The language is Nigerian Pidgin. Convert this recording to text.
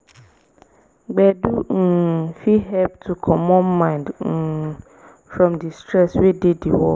gbedu um fit help to comot mind um from di stress wey dey di work